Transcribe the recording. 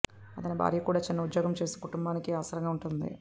అతని భార్య కూడా చిన్న ఉద్యోగం చేస్తూ కుటుంబానికి ఆసరాగా ఉంటోంది